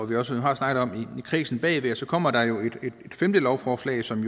vi også har snakket om i kredsen bagved kommer der et femte lovforslag som